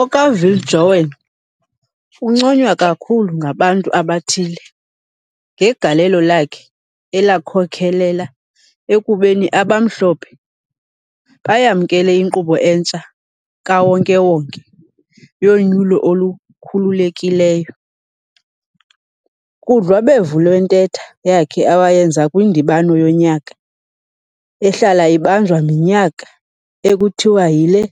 OkaViljoen unconywa kakhulu ngabantu abathile ngegalelo lakhe elakhokhelela ekubeni abamhlophe bayamnkele inkqubo entsha kawonke-wonke yonyulo olukhululekileyo. Kudlwabevu lwentetho yakhe awayenza kwindibano yonyaka ehlala ibanjwa minyaka ekuthiwa yile